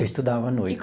Eu estudava à noite.